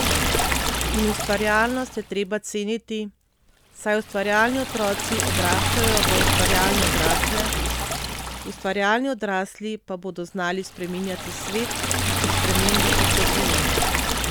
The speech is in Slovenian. In ustvarjalnost je treba ceniti, saj ustvarjalni otroci odraščajo v ustvarjalne odrasle, ustvarjalni odrasli pa bodo znali spreminjati svet, ki spremembe potrebuje.